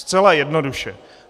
Zcela jednoduše.